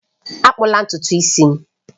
Akpụla ntutu isi m!